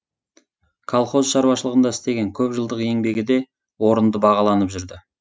колхоз шаруашылығында істеген көп жылдық еңбегі де орынды бағаланып жүрді